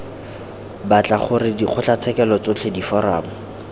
batla gore dikgotlatshekelo tsotlhe diforamo